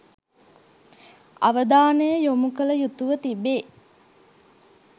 අවධානය යොමු කළ යුතුව තිබේ.